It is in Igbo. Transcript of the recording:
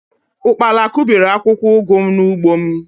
ụkpala kụbiri akwụkwọ ugu m n’ugbo m